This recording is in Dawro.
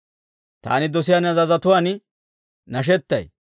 Taani dosiyaa ne azazotuwaan nashettay